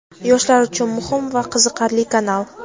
Yoshlar uchun muhim va qiziqarli kanal.